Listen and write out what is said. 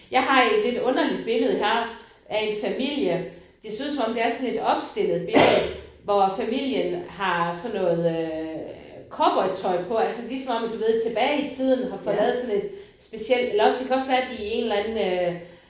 Jeg har et lidt underligt billede her af en familie det ser ud som om det er sådan et lidt opstillet billedet hvor familien har sådan noget øh cowboytøj på altså lige som om du ved tilbage i tiden har fået lavet sådan et specielt eller også det kan også være de i en eller anden øh